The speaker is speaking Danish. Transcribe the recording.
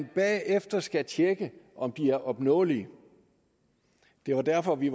bagefter skal man tjekke om de er opnåelige det var derfor vi